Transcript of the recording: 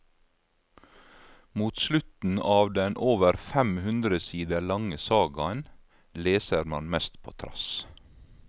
Mot slutten av den over femhundre sider lange sagaen leser man mest på trass.